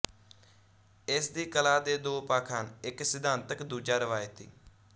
ਇਸ ਦੀ ਕਲਾ ਦੇ ਦੋ ਪੱਖ ਹਨ ਇੱਕ ਸਿਧਾਂਤਕ ਦੂਜਾ ਰਵਾਇਤੀ